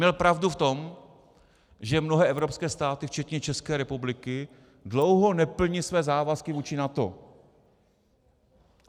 Měl pravdu v tom, že mnohé evropské státy včetně České republiky dlouho neplní své závazky vůči NATO.